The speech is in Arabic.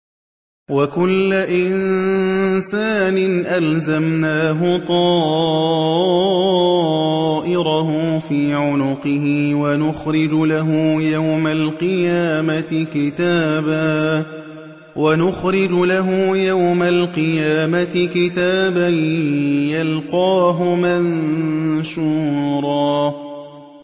وَكُلَّ إِنسَانٍ أَلْزَمْنَاهُ طَائِرَهُ فِي عُنُقِهِ ۖ وَنُخْرِجُ لَهُ يَوْمَ الْقِيَامَةِ كِتَابًا يَلْقَاهُ مَنشُورًا